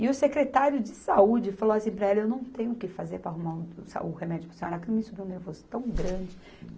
E o secretário de saúde falou assim para ela, eu não tenho o que fazer para arrumar um, o remédio para a senhora, aquilo me subiu um nervoso tão grande.